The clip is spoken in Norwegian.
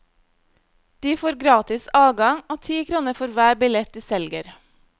De får gratis adgang, og ti kroner for hver billett de selger.